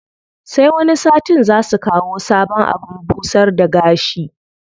Sai wani satin zaa su kawo sabon abin busar da gashi.